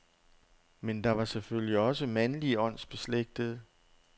Men der var selvfølgelig også mandlige åndsbeslægtede.